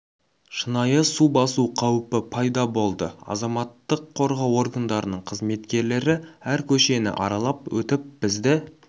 шынайы су басу қауіпі пайда болды азаматтық қорғау органдарының қызметкерлері әр көшені аралап өтіп бізді